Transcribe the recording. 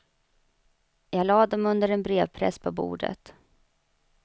Jag lade dem under en brevpress på bordet.